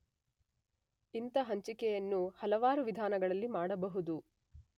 ಇಂಥ ಹಂಚಿಕೆಯನ್ನು ಹಲವಾರು ವಿಧಾನಗಳಲ್ಲಿ ಮಾಡಬಹುದು.